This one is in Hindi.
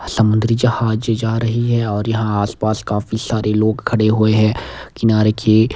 समुद्री जहाज जा रही है और यहां आस पास काफी सारे लोग खड़े हुए है किनारे की--